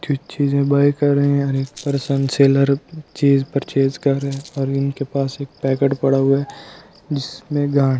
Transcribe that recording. जो चीजें बाय कर रहे हैं और एक पर्सन सेलर चीज परचेस कर रहे हैं और इनके पास एक पैकेट पड़ा हुआ है जिसमें--